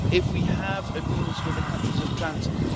if we have agreements with the countries of transit